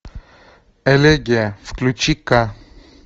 элегия включи ка